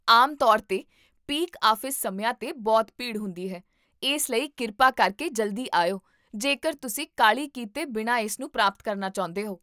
ਆਮ ਤੌਰ 'ਤੇ peak office ਸਮਿਆਂ 'ਤੇ ਬਹੁਤ ਭੀੜ ਹੁੰਦੀ ਹੈ, ਇਸ ਲਈ ਕਿਰਪਾ ਕਰਕੇ ਜਲਦੀ ਆਇਓ ਜੇਕਰ ਤੁਸੀਂ ਕਾਹਲੀ ਕੀਤੇ ਬਿਨਾਂ ਇਸਨੂੰ ਪ੍ਰਾਪਤ ਕਰਨਾ ਚਾਹੁੰਦੇ ਹੋ